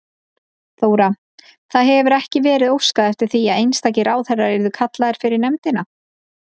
Þóra: Það hefur ekki verið óskað eftir því að einstakir ráðherrar yrðu kallaðir fyrir nefndina?